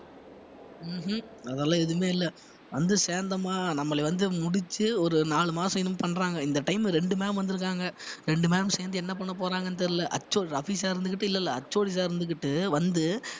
உம் உம் அதெல்லாம் எதுவுமே இல்லை வந்து சேர்ந்தோமா நம்மளை வந்து முடிச்சு ஒரு நாலு மாசம் இன்னும் பண்றாங்க இந்த time ல ரெண்டு ma'am வந்திருக்காங்க ரெண்டு ma'am சேர்ந்து என்ன பண்ண போறாங்கன்னு தெரியல sir இருந்துகிட்டு இல்ல இல்ல HOD sir இருந்துகிட்டு வந்து